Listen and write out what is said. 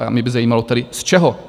A mě by zajímalo tedy, z čeho?